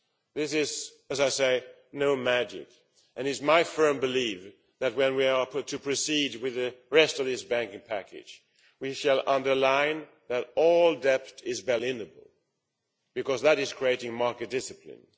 This is not magic, and it is my firm belief that, when we are asked to proceed with the rest of this banking package, we shall underline that all debt is bail in able, because that is creating market discipline.